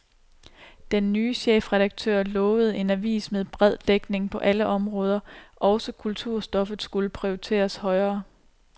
Den nye chefredaktør lovede en avis med bred dækning på alle områder, også kulturstoffet skulle prioriteres højere.